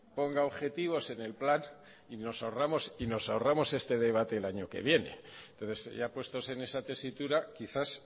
ponga objetivos en el plan y nos ahorramos este debate el año que viene entonces ya puestos en esa tesitura quizás